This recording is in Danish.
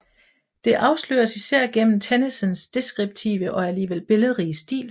Det afsløres især gennem Tennysons deskriptive og alligevel billedrige stil